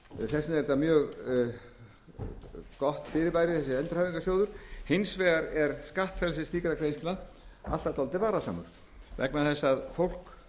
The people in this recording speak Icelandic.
þess vegna er þessi endurhæfingarsjóður mjög gott fyrirbæri hins vegar er skattfrelsi slíkra greiðslna alltaf dálítið varasamt vegna þess að fólk